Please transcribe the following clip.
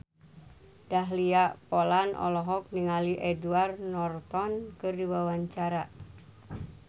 Dahlia Poland olohok ningali Edward Norton keur diwawancara